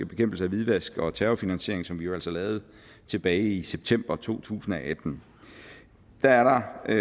bekæmpelse af hvidvask og terrorfinansiering som vi altså lavede tilbage i september to tusind og atten der er